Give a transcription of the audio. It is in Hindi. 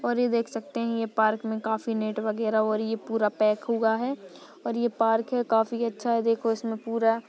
और ये देख सकते है पार्क मे काफी नेट वगेरा और ये पुरा पैक हुआ है। और ये पार्क है काफी अच्छा है। देखो इसमे पुर--